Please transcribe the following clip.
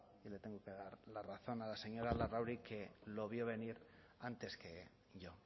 y le tengo que dar la razón a la señora larrauri que lo vio venir antes que yo